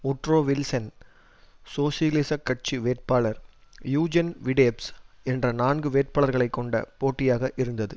Woodrow Wilson சோசியலிசக் கட்சி வேட்பாளர் யூஜென் வி டெப்ஸ் என்ற நான்கு வேட்பாளர்களை கொண்ட போட்டியாக இருந்தது